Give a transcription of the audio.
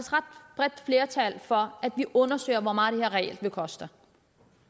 bredt flertal for at vi undersøger hvor meget den her regel vil koste